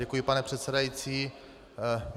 Děkuji, pane předsedající.